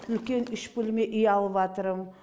үлкен үш бөлме үй алыватырмын